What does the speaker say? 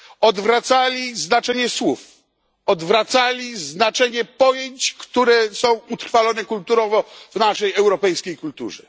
Odwracali znaczenie słów, odwracali znaczenie pojęć, które są utrwalone kulturowo w naszej europejskiej kulturze.